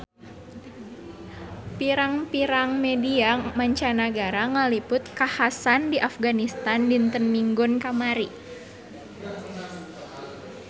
Pirang-pirang media mancanagara ngaliput kakhasan di Afganistan dinten Minggon kamari